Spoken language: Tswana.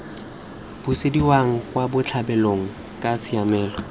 busediwang kwa botlhabelong kana tshiamelo